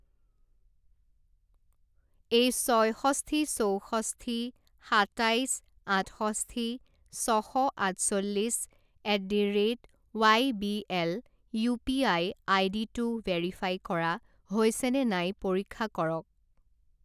এই ছয়ষষ্ঠি চৌষষ্ঠি সাতাইছ আঠষষ্ঠি ছ শ আঠচল্লিছ at the rate Y B L UPI আইডিটো ভেৰিফাই কৰা হৈছেনে নাই পৰীক্ষা কৰক।